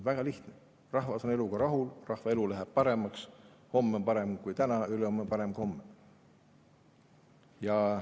Väga lihtne: rahvas on eluga rahul, rahva elu läheb paremaks, homme on parem kui täna ja ülehomme on parem kui homme.